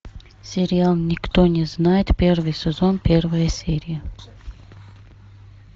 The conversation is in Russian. сериал никто не знает первый сезон первая серия